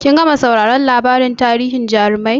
Kin gama sauraron labarin tarihin jarumai?